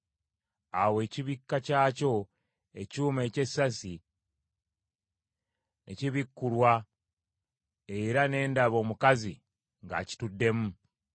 Awo ekibikka kyakyo, ekyuma eky’essasi ne kibikkulwa era ne ndaba omukazi ng’akituddemu.